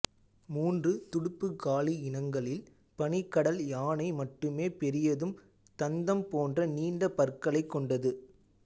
மூன்று துடுப்புகாலி இனங்களில் பனிக்கடல் யானை மட்டுமே பெரியதும் தந்தம் போன்ற நீண்ட பற்களைக் கொண்டது